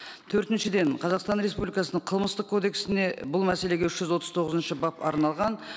төртіншіден қазақстан республикасының қылмыстық кодексіне бұл мәселеге үш жүз отыз тоғызыншы бап арналған